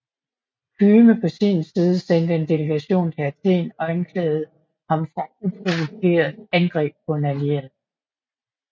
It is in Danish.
Kyme på sin side sendte en delegation til Athen og anklagede ham for uprovokeret angreb på en allieret